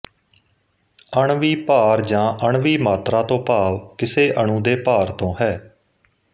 ਅਣਵੀ ਭਾਰ ਜਾਂ ਅਣਵੀ ਮਾਤਰਾ ਤੋਂ ਭਾਵ ਕਿਸੇ ਅਣੂ ਦੇ ਭਾਰ ਤੋਂ ਹੈ